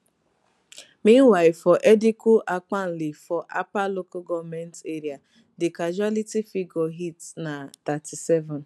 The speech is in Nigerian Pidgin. meanwhile for edikwu ankpali for apa local goment area di causality figure hit na thirty-seven